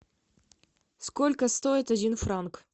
сколько стоит один франк